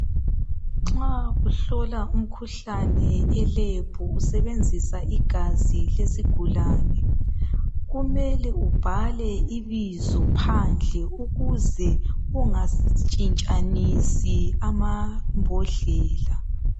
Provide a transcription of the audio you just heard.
Nxa uhlola umkhuhlane eLab usebenzisa igazi lezigulani kumele ubhale ibizo phandle ukuze ungatshintshanisi amambhodlela.